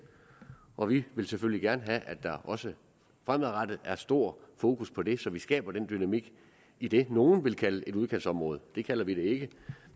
og vi vil selvfølgelig gerne have at der også fremadrettet er stor fokus på det så vi skaber den dynamik i det nogle vil kalde et udkantsområde det kalder vi det ikke